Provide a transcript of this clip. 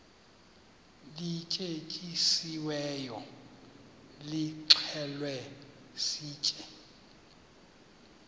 lityetyisiweyo nilixhele sitye